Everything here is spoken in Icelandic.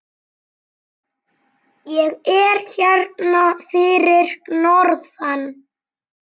Ég er hérna fyrir norðan.